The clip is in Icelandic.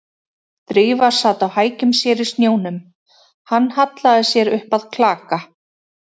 Drífa sat á hækjum sér í snjónum, hann hallaði sér upp að klaka